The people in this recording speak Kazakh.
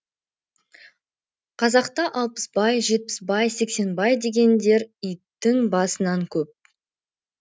қазақта алпысбай жетпісбай сексенбай дегендер иттің басынан көп